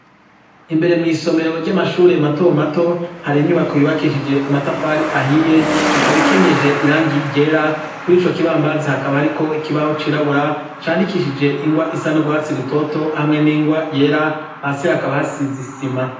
Imbere mw'isomero ry'amashure matomato hari inyubako yubakishije amatafari ahiye ikabikenyeje irangi ryera kuri co kibambazi hakaba hariko ikibaho cirabura candikishije ingwa isa n'urwatsi rutoto hamwe n'ingwa yera hasi hakaba hasizisima.